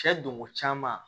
Cɛ donko caman